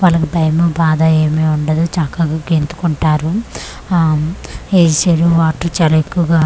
వాళ్ళకు భయము బాధా ఏమి ఉండదు చక్కగా గెంతుకుంటారు ఆ ఉమ్ వాటర్ చాలా ఎక్కువగా--